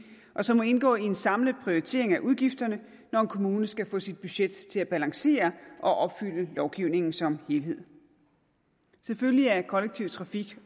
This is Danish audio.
og som må indgå i en samlet prioritering af udgifterne når en kommune skal få sit budget til at balancere og opfylde lovgivningen som helhed selvfølgelig er kollektiv trafik